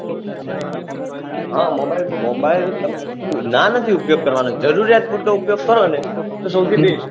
હા mobile mobile ના નથી ઉપયોગ કરાવનું જરુરીયાત પુરતો ઉપયોગ કરોને તો સૌથી best